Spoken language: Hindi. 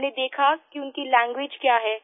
हमने देखा कि उनकी लैंग्वेज क्या है